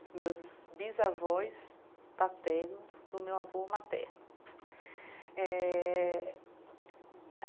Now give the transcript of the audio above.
Os meus bisavós paternos do meu avô materno eh a.